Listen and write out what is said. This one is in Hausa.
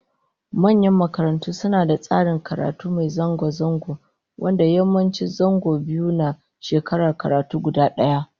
Manyan makarantu suna da tsarin karatu mai zango zango, wanda yawanci zango biyu ne a shekarar karatu guda daya